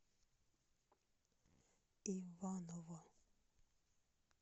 иваново